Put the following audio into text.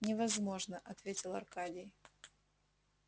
невозможно ответил аркадий